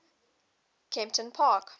kemptonpark